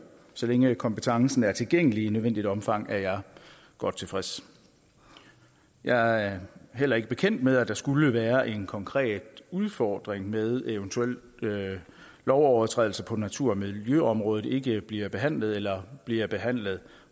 så længe kompetencen er tilgængelig i nødvendigt omfang er jeg godt tilfreds jeg er heller ikke bekendt med at der skulle være en konkret udfordring med at eventuelle lovovertrædelser på natur og miljøområdet ikke bliver behandlet eller bliver behandlet